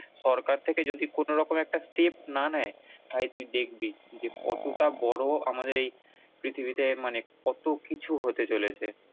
সরকার থেকে যদি কোনোরকম একটা step না নেয় তাহলে তুই দেখবি যে কতটা বড় আমাদের এই পৃথিবীতে মানে কতকিছু হতে চলেছে ।